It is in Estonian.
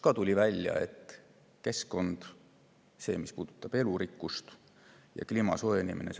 Tuli välja, et seda, mis puudutab keskkonda, elurikkust ja kliima soojenemist, tuleb täiendada.